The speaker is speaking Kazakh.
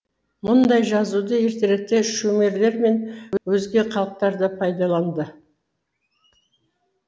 мұндай жазуды ертеректе шумерлер мен өзге халықтар да пайдаланды